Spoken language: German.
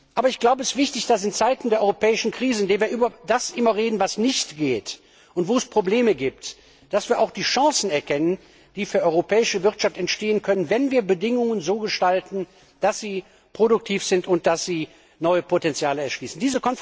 Aber ich glaube, es ist wichtig, dass wir in Zeiten der europäischen Krisen, in denen wir immer über das reden, was nicht geht und wo es Probleme gibt, auch die Chancen erkennen, die für die europäische Wirtschaft entstehen können, wenn wir die Bedingungen so gestalten, dass sie produktiv sind und neue Potenziale erschließen.